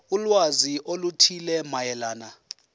ulwazi oluthile mayelana